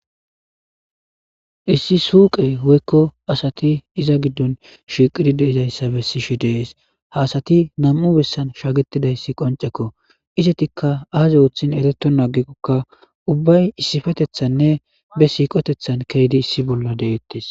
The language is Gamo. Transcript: Issi suqqe woyikko asati izza giddonni shiqqid dizayissa besishshe de'ees.haa asati nam''u bessanni shagetidayiss qonccekko .izettikka azii oththin eretonna agikoka ubbayi issippeteththan nne be siqqoteththanni keziddi issi bolla de'etees.